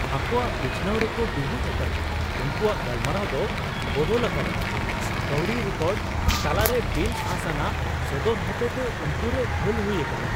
ᱟᱠᱚᱣᱟᱜ ᱵᱤᱪᱷᱱᱟᱶ ᱨᱮᱠᱚ ᱰᱩᱵᱩᱡ ᱟᱠᱟᱱᱟ, ᱩᱱᱠᱩᱣᱟᱜ ᱜᱟᱞᱢᱟᱨᱟᱣ ᱫᱚ ᱵᱚᱫᱚᱞ ᱟᱠᱟᱫᱟ, ᱠᱟᱹᱣᱰᱤ ᱨᱮᱠᱚᱨᱰ ᱛᱟᱞᱟᱨᱮ ᱵᱤᱱᱼᱟᱸᱥ ᱟᱱᱟᱜ ᱥᱚᱫᱚᱨ ᱦᱚᱛᱮᱛᱮ ᱩᱱᱠᱩ ᱨᱮ ᱜᱷᱟᱹᱞ ᱦᱩᱭ ᱟᱠᱟᱱᱟ ᱾